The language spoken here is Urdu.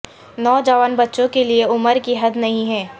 نوجوان بچوں کے لئے عمر کی حد نہیں ہیں